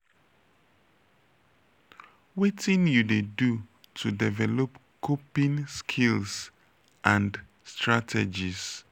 wetin you dey do to develop coping skills and strategies?